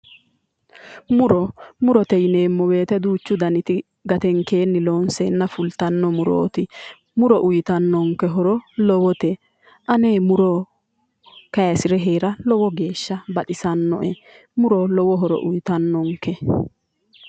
muro, murote yineemmo woyite duuchu daniti gatenkeenni loonseenna fultanno murooti muro uuyitannonke horo lowote ane muro kaayiisire heera lowo geeshsha baxisannoe. muro lowobhoro uuyitannonke.